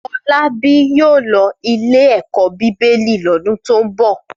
Fọlábí yóò lọ ilé-ẹ̀kọ́ Bíbélì lọ́dún tó ń bọ̀.